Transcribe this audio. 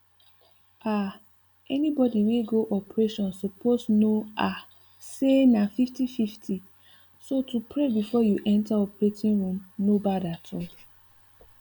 um anybody we go operation suppose know um say na 5050 so to pray befor you enter operating room no bad at all